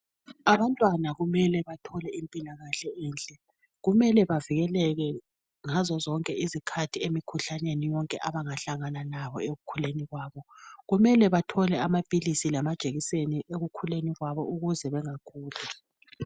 Abantwana kumele bathole impilakahle enhle. Kumele bavikeleke ngazozonke izikhathi emikhuhlaneni yonke abangahlangana nabo ekukhuleni kwabo. Kumele bathole amaphilisi lamajekiseni ekukhuleni kwabo ukuze bengaguli.